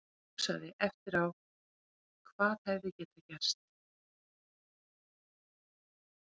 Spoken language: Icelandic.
Sem að ég hugsaði eftir á, hvað hefði getað gerst?